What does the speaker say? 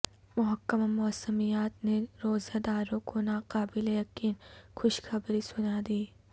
محکمہ موسمیات نے روزہ داروں کوناقابل یقین خوشخبری سنادی